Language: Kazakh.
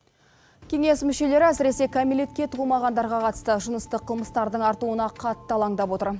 кеңес мүшелері әсіресе кәмелетке толмағандарға қатысты жыныстық қылмыстардың артуына қатты алаңдап отыр